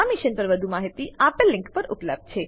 આ મિશન પર વધુ માહિતી આપેલ લીંક પર ઉપલબ્ધ છે